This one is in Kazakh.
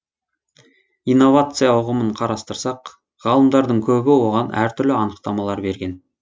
инновация ұғымын қарастырсақ ғалымдардың көбі оған әртүрлі анықтамалар берген